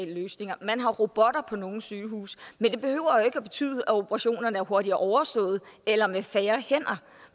løsninger man har robotter på nogle sygehuse men det behøver jo ikke at betyde at operationerne er hurtigere overstået eller med færre hænder